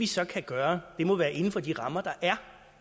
så kan gøre må være inden for de rammer der er